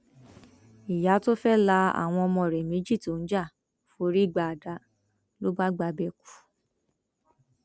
ìyá tó fẹẹ la àwọn ọmọ rẹ méjì tó ń jà forí gba àdá ló bá gbabẹ kú